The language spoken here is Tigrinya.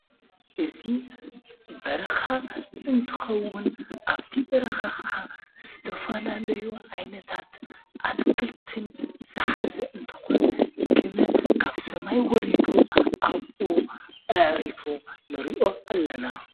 እዙ በርኻ እንትኸውን ኣብቲ በረኻ ኸዓ ስተፋናለዩ ዓይነታት ኣትክልትን ዝሓዘ እንተኾን ግመ ካብ ሰማይ ወሪዱ ኣብኡ ኣዕሪፉ ንሪዮ ኣለና